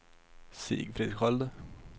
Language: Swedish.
Sigfrid Sköld